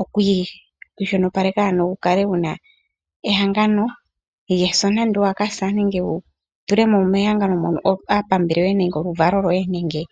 oku ikwashilipaleka ano wukale wuna ehangano lyeso nenge owakasa nenge wutulemo mehangano mono aakwanezimo yoye nenge aapambele yoye nenge oluvalo lwoye.